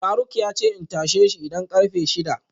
faruk yace in tasheshi idan karfe shida